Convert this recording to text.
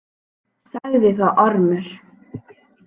Sagði þá Ormur: